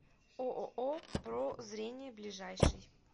ооо про зрение ближайший